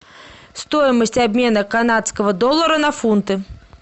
стоимость обмена канадского доллара на фунты